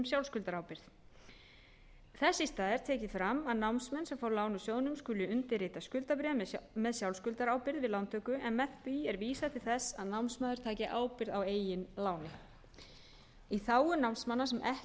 sjálfskuldarábyrgð þess í stað er tekið fram að námsmenn sem fá lán úr sjóðnum skulu undirrita skuldabréf með sjálfskuldarábyrgð við lántöku en með því er vísað til þess að námsmaður taki ábyrgð á eigin láni í þágu námsmanna sem ekki